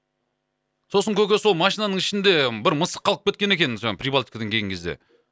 сосын көке сол машинаның ішінде бір мысық қалып кеткен екен жаңа прибалтикадан келген кезде